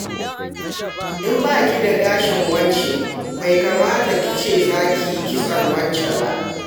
In ba ki da gashin wance, bai kamata ki ce za ki yi kitson wance ba.